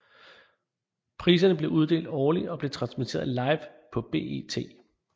Priserne bliver uddelt årligt og blev transmitteret live på BET